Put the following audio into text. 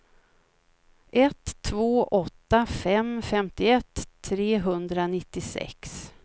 ett två åtta fem femtioett trehundranittiosex